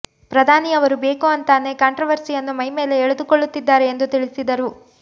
ಪ್ರಧಾನಿಯವರು ಬೇಕು ಅಂತಾನೆ ಕಾಂಟ್ರವರ್ಸಿಯನ್ನು ಮೈ ಮೇಲೆ ಎಳೆದುಕೂಳ್ಳುತ್ತಿದ್ದಾರೆ ಎಂದು ತಿಳಿಸಿದರು